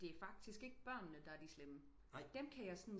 Det er faktisk ikke børnene der er de slemme dem kan jag sådan